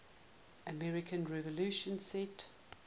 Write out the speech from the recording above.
american revolution set